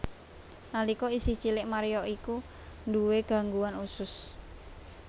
Nalika isih cilik Mario iku nduwé gangguan usus